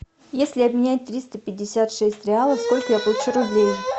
если обменять триста пятьдесят шесть реалов сколько я получу рублей